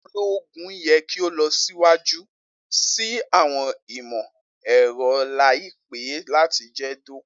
Ologun yẹ ki o lọ siwaju si awọn imọ-ẹrọ laipẹ lati jẹ doko